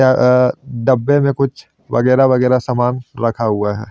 या अ डब्बे में कुछ वगेरा वगेरा सामान रखा हुआ है।